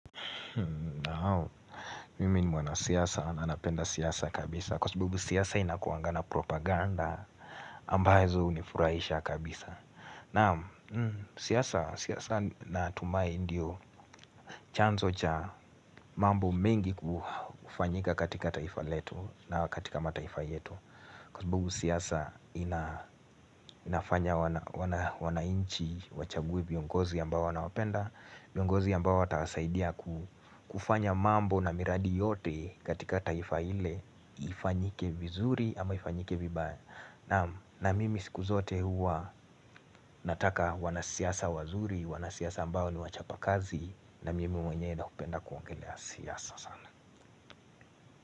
Naam, mimi ni mwanasiasa, na napenda siasa kabisa Kwa sababu siasa inakuanga na propaganda ambazo hunifurahisha kabisa Naam, siasa natumai ndiyo chanzo cha mambo mengi kufanyika katika taifa letu na katika mataifa yetu Kwa sabibu siyasa inafanya wanainchi wachague viongozi ambao wanawapenda viongozi ambao watawasaidia kufanya mambo na miradi yote katika taifa ile ifanyike vizuri ama ifanyike vibaya naam na mimi siku zote huwa nataka wanasiasa wazuri Wanasiasa ambao ni wachapa kazi na mimi mwenyewe na kupenda kuongelea siasa sana.